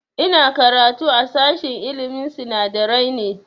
Ina karatu a sashen ilmin sinadarai ne